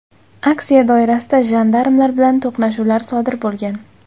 Aksiya doirasida jandarmlar bilan to‘qnashuvlar sodir bo‘lgan .